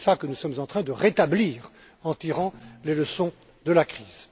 Et c'est cela que nous sommes en train de rétablir en tirant les leçons de la crise.